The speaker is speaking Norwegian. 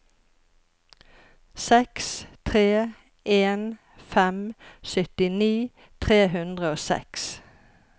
seks tre en fem syttini tre hundre og seks